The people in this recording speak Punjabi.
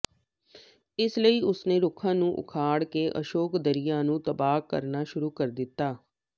ਇਸ ਲਈ ਉਸਨੇ ਰੁੱਖਾਂ ਨੂੰ ਉਖਾੜ ਕੇ ਅਸ਼ੋਕ ਦਰਿਆ ਨੂੰ ਤਬਾਹ ਕਰਨਾ ਸ਼ੁਰੂ ਕਰ ਦਿੱਤਾ